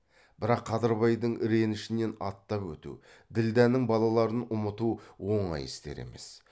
бірақ қадырбайдың ренішінен аттап өту ділдәнің балаларын ұмыту оңай істер емес